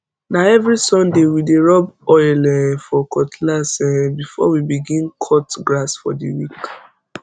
na every sunday we dey rub oil um for cutlass um before we begin cut grass for the week